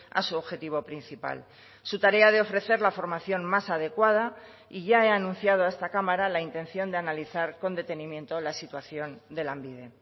a su objetivo principal su tarea de ofrecer la formación más adecuada y ya he anunciado a esta cámara la intención de analizar con detenimiento la situación de lanbide